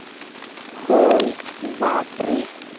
होय. बापरे!